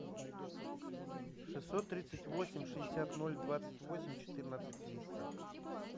шестьсот тридцать восемь шестьдесят ноль двадцать восемь четырнадцать триста